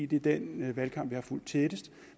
det er den valgkamp jeg har fulgt tættest